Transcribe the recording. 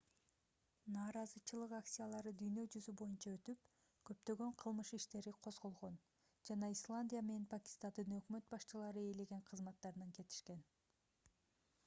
нааразычылык акциялары дүйнө жүзү боюнча өтүп көптөгөн кылмыш иштери козголгон жана исландия менен пакистандын өкмөт башчылары ээлеген кызматтарынан кетишкен